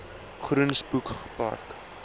groen spoeg park